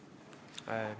Aitäh!